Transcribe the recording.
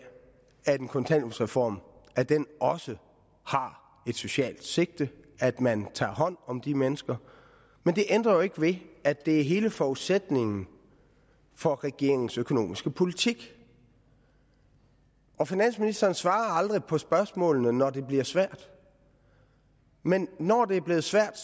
at en kontanthjælpsreform også har et socialt sigte at man tager hånd om de mennesker men det ændrer jo ikke ved at det er hele forudsætningen for regeringens økonomiske politik og finansministeren svarer aldrig på spørgsmålene når det bliver svært men når det er blevet svært